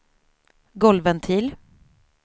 golvventil